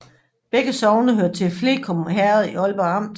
Begge sogne hørte til Fleskum Herred i Aalborg Amt